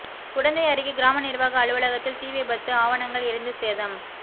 குடந்தை அருகே கிராம நிா்வாக அலுவலகத்தில் தீ விபத்துஆவணங்கள் எரிந்து சேதம்